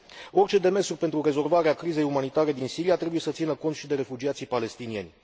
Orice demersuri pentru rezolvarea crizei umanitare din Siria trebuie să țină cont și de refugiații palestinieni.